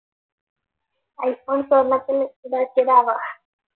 iPhone സ്വർണ്ണത്തിൽ ഇതാക്കിയതാവാം